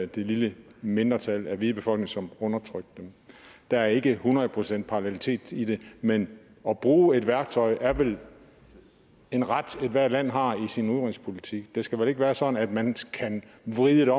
det lille mindretal af den hvide befolkning som undertrykte dem der er ikke hundrede procent parallelitet i det men at bruge et værktøj er vel en ret ethvert land har i sin udenrigspolitik det skal vel ikke være sådan at man kan vride det